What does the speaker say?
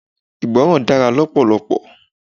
Ìgbọràn dára lọpọlọpọ.